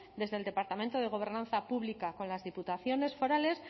desde el departamento de gobernanza pública con las diputaciones forales